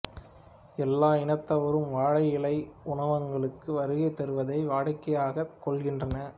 எல்லா இனத்தவரும் வாழை இலை உணவகங்களுக்கு வருகை தருவதை வாடிக்கையாகக் கொள்கின்றனர்